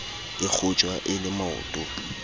e kgotjwa e le maoto